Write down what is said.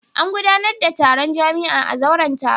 Za a gudanar da taron jami'a a zauren taro.